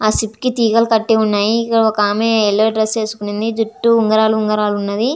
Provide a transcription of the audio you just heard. ఆ షిప్ కి తిగల్లు కటి వున్నాయ్ ఇక్కడ ఒక ఆమె యెల్లో డ్రెస్ వేసుకొని వుంది జుట్టు ఉన్గురాల ఉన్గురాల ఉన్నది.